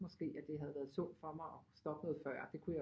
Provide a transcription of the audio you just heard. Måske at det havde været sundt for mig at stoppe noget før det kunne jeg